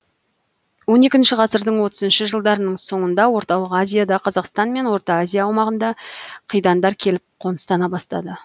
он екінші ғасырдың отызыншы жылдарының соңында орталық азияда қазақстан мен орта азия аумағына қидандар келіп қоныстана бастады